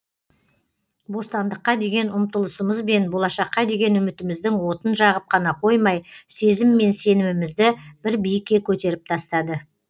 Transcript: бостандыққа деген ұмтылысымыз бен болашаққа деген үмітіміздің отын жағып қана қоймай сезім мен сенімімізді бір биікке көтеріп тастады